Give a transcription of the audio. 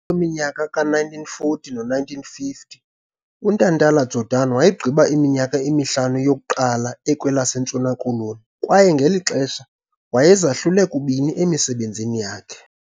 minyaka yama-1940 neyama-1950 uNtantala-Jordan wayegqiba iminyaka emihlanu yokuqala ekwelaseNtshona Koloni kwaye ngeli xesha wayezahlule kubini emisebenzini yakhe.